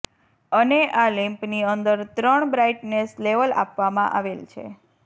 અને આ લેમ્પ ની અંદર ત્રણ બ્રાઇટનેસ લેવલ આપવા માં આવેલ છે